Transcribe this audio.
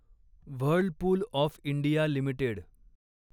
Whirlpool of India limited